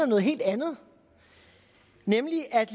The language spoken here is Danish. noget helt andet nemlig at